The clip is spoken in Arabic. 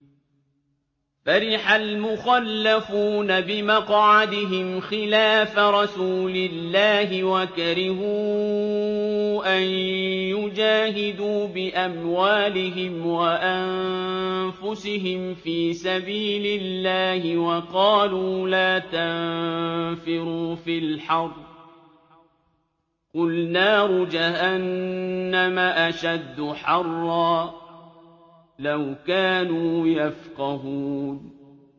فَرِحَ الْمُخَلَّفُونَ بِمَقْعَدِهِمْ خِلَافَ رَسُولِ اللَّهِ وَكَرِهُوا أَن يُجَاهِدُوا بِأَمْوَالِهِمْ وَأَنفُسِهِمْ فِي سَبِيلِ اللَّهِ وَقَالُوا لَا تَنفِرُوا فِي الْحَرِّ ۗ قُلْ نَارُ جَهَنَّمَ أَشَدُّ حَرًّا ۚ لَّوْ كَانُوا يَفْقَهُونَ